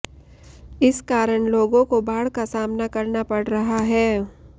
इस कारण लोगों को बाढ़ का सामना करना पड़ रहा है